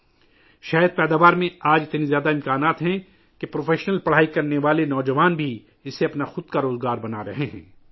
آج شہد کی پیداوار میں اتنی صلاحیت ہے کہ پیشہ ورانہ تعلیم حاصل کرنے والے نوجوان بھی اسے اپنا روزگار بنا رہے ہیں